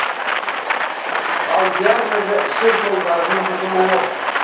ал диагнозы ішек жолдарының бұзылуы